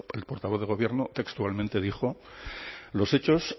del gobierno textualmente dijo los hechos